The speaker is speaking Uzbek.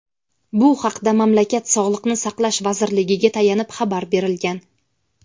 Bu haqda mamlakat Sog‘liqni saqlash vazirligiga tayanib xabar berilgan.